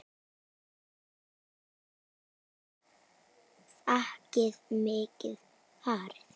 Páll: Var þakið mikið farið?